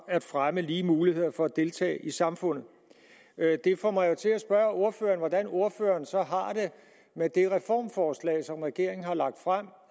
at fremme lige muligheder for at deltage i samfundet det får mig jo til at spørge ordføreren hvordan ordføreren så har det med det reformforslag som regeringen har lagt frem